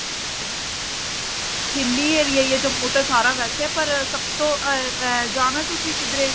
hilly area ਐ ਜੰਮੂ ਤਾ ਸਾਰਾ ਵੈਸੇ ਪਰ ਸਭ ਤੋਂ ਐਂ ਐਂ ਜਾਣਾ ਤੁਸੀਂ ਕਿਧਰੇ